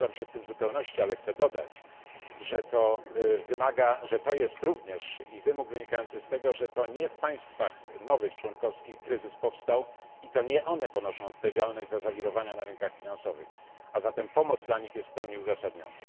Zgadzam się z tym w zupełności, ale chcę dodać, że to jest również wymóg wynikający z tego, że to nie w nowych państwach członkowskich powstał kryzys i to nie one ponoszą odpowiedzialność za zawirowania na rynkach finansowych, a zatem pomoc dla nich jest w pełni uzasadniona.